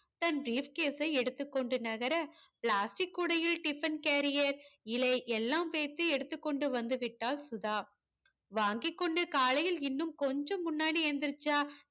தன் briefcase யை எடுத்து கொண்டு நகர plastic கூடையில் tiffin carrier இலை எல்லாம் பேசி எடுத்துகொண்டு வந்துவிட்டாள் சுதா வாங்கிக்கொண்டு காலையில் இன்னும் கொஞ்சம் முன்னாடி ஏந்திரிச்சா